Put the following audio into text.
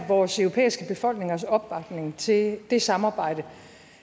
vores europæiske befolkningers opbakning til det samarbejde